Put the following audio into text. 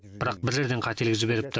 бірақ бір жерден қателік жіберіпті